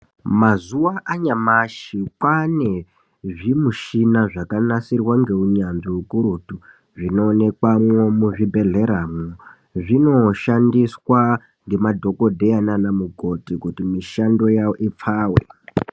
Mazuwa anyamashi , kwaane zvimushina zvakanasirwa ngeunyanzvi ukurutu zvinoonekwamwo muzvibhedhleramwo zvinoshandiswa ngemadhokodheya naana mukoti kuti mishando yawo ipfawe.